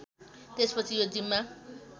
त्यसपछि यो जिम्मा